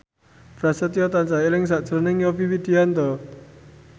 Prasetyo tansah eling sakjroning Yovie Widianto